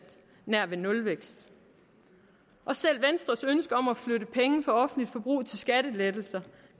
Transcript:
nær ved nulvækst selv venstres ønske om at flytte penge fra offentligt forbrug til skattelettelser